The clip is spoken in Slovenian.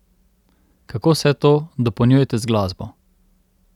Kako vse to dopolnjujete z glasbo?